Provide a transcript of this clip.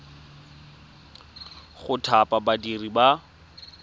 go thapa badiri ba ba